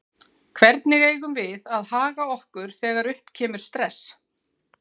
Hvernig eigum við að haga okkur þegar upp kemur stress?